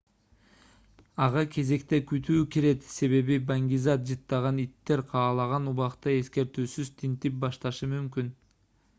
ага кезекте күтүү кирет себеби баңги зат жыттаган иттер каалаган убакта эскертүүсүз тинтип башташы мүмкүн